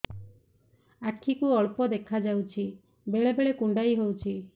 ଆଖି କୁ ଅଳ୍ପ ଦେଖା ଯାଉଛି ବେଳେ ବେଳେ କୁଣ୍ଡାଇ ହଉଛି